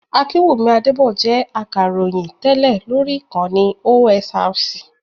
Akinwumi Adébọ̀ jẹ́ Akàròyìn tẹ́lẹ̀ lóri Ìkànnì OSRC.